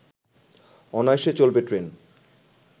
অনায়াসে চলবে ট্রেন